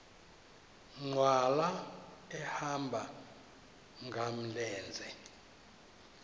nkqwala ehamba ngamlenze